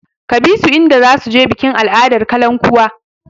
Ka bi su idan za su je bikin al'adar kalankuwa!